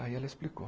Aí ela explicou.